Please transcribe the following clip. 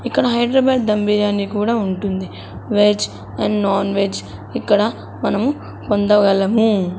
ఇక్కడ హైదరాబాద్ దమ్ బిర్యాని కూడా ఉంటుంది వెజ్ అండ్ నాన్ వెజ్ ఇక్కడ మనము పొందగలము.